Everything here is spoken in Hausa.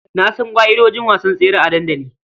Na san ƙa'idojin wasan tsere a dandali.